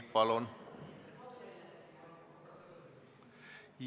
Palun!